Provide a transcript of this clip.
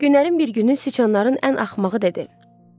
Günlərin bir günü siçanların ən axmağı dedi.